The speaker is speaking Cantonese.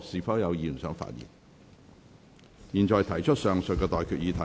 我現在向各位提出上述待決議題。